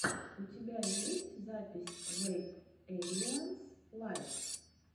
у тебя есть запись вэйп эйлианс лайв